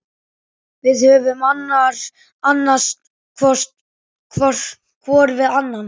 Við höfum annast hvor annan.